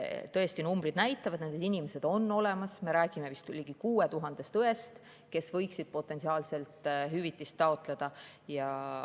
Tõesti, numbrid näitavad, et need inimesed on olemas, me räägime vist ligi 6000 õest, kes võiksid potentsiaalselt hüvitist taotleda.